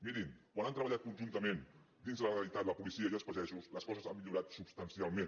mirin quan han treballat conjuntament dins la legalitat la policia i els pagesos les coses han millorat substancialment